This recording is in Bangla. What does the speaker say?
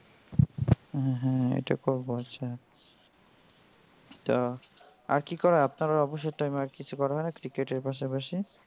হ্যাঁ হ্যাঁ এটা করব আচ্ছা তা আর কি করা হয় আপনার অবসর time এ আর কিছু করা হয় cricket এর পাশাপাশি?